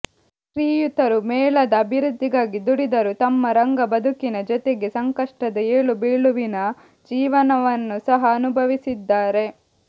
ಶ್ರೀಯುತರು ಮೇಳದ ಅಭಿವೃದ್ಡಿಗಾಗಿ ದುಡಿದರುತಮ್ಮ ರಂಗ ಬದುಕಿನ ಜೊತೆಗೆ ಸಂಕಷ್ಟದ ಏಳುಬೀಳುವಿನ ಜೀವನವನ್ನು ಸಹ ಅನುಭವಿಸಿದ್ದಾರೆ